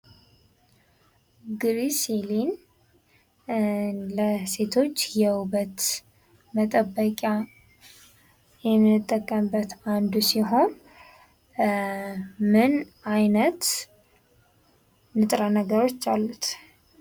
ግሪሲሊን ለሴቶች የውበት መጠበቂያ የምንጠቀምበት አንዱ ሲሆን ምን አይነት ንጥረ ነገሮች አሉት ?